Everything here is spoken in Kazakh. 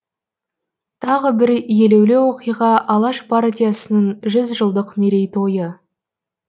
тағы бір елеулі оқиға алаш партиясының жүз жылдық мерей тойы